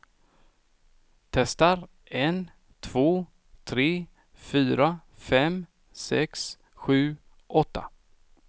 Testar en två tre fyra fem sex sju åtta.